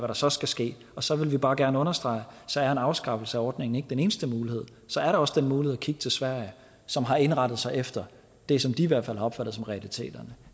der så skal ske og så vil vi bare gerne understrege at så er en afskaffelse af ordningen ikke den eneste mulighed så er der også den mulighed at kigge til sverige som har indrettet sig efter det som de i hvert fald har opfattet som realiteterne